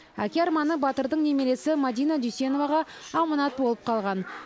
әке арманы батырдың немересі мәдина дүйсеноваға аманат болып қалған